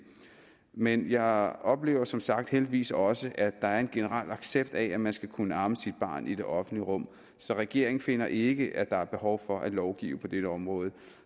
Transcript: men jeg oplever som sagt heldigvis også at der er en generel accept af at man skal kunne amme sit barn i det offentlige rum så regeringen finder ikke at der er behov for at lovgive på dette område